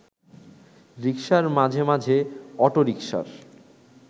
রিকশার, মাঝে মাঝে অটোরিকশার